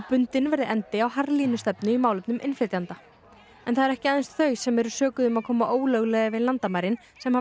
bundinn verði endi á harðlínustefnu í málefnum innflytjenda en það eru ekki aðeins þau sem sökuð eru um að koma ólöglega yfir landamærin sem